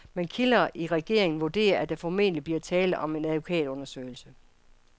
Men kilder i regeringen vurderer, at der formentlig bliver tale om en advokatundersøgelse.